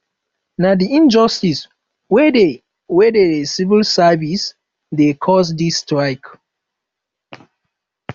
na di injustice wey dey wey dey civil service dey cause di strike